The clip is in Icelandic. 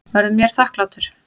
Verður mér þakklátur.